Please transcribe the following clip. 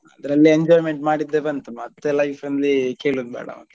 ಅದ್ರಲ್ಲೇ enjoyment ಮಾಡಿದ್ದೆ ಬಂತು ಮತ್ತೆ life ಲ್ಲಿ ಕೇಳುದ್ ಬೇಡ.